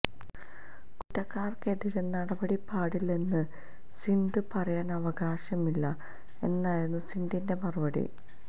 കുറ്റക്കാര്ക്കെതിരെ നടപടി പാടില്ലെന്ന് സിനഡ് പറയാന് അവകാശമില്ല എന്നായിരുന്നു സിനഡിന്റെ മറുപടി